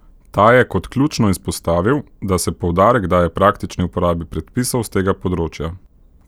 Ta je kot ključno izpostavil, da se poudarek daje praktični uporabi predpisov s tega področja.